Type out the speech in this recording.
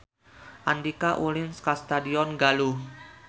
Andika ulin ka Stadion Galuh